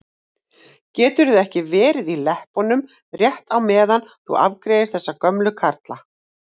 Geturðu ekki verið í leppunum rétt á meðan þú afgreiðir þessa gömlu karla?